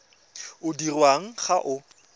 o dirwang ga o a